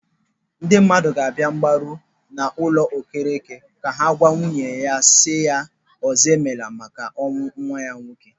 Ndị mmadụ ga-abịa mgbaru n'ụlọ Okereke ka ha gwa nwunye si ya, ọzọemela, maka ọnwụ nwa ha nwoke.